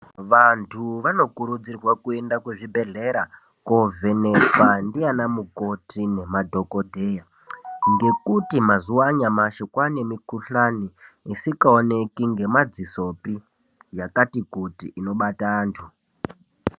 Vantu vanokurudzirwa kuenda ku zvibhedhlera ko vhenekwa ndiana mukoti ne madhokodheya ngekuti mazuva anyamashi kwane mikuhlani isika oneki nge madzisopi yakati kuti inobata antu.